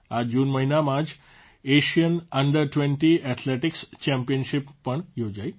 આ જૂન મહિનામાં જ Asian under twenty athletics championship પણ યોજાઇ